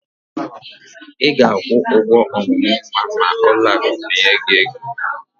Ị ga-akwụ ọmụmụ nwa ma ụlọakụ ọbụla binye gị ego.